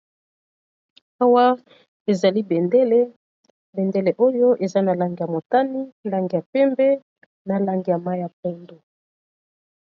Awa, ezali bendele. Bendele oyo, eza na lange ya motani, lange ya pembe, na lange ya mai ya pondu.